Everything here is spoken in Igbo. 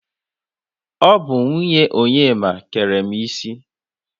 Ọ bụ nwunye Onyema kere m isi.